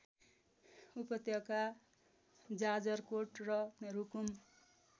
उपत्यका जाजरकोट र रूकुम